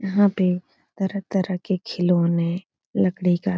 यहाँ पे तरह-तरह के खिलौने लकड़ी का --